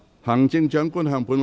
行政長官，請發言。